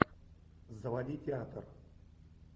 заводи театр